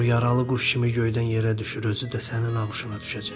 O yaralı quş kimi göydən yerə düşür, özü də sənin ağuşuna düşəcək.